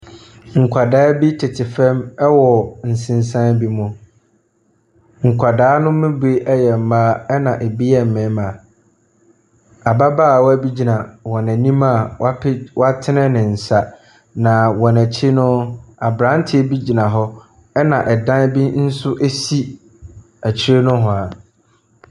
Nkwadaa bi tete famu wɔ nsensan bi mu. Nkwadaa ne mu bi yɛ mmaa na bi yɛ mmarima. Ababaawa bi gyina wɔn anim a watene ne nsa. Na wɔn akyi no, aberanteɛ bi gyina na dan bi nso si akyi ne hoa.